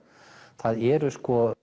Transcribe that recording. það eru